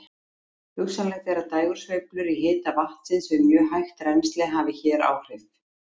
Hugsanlegt er að dægursveiflur í hita vatnsins við mjög hægt rennsli hafi hér áhrif.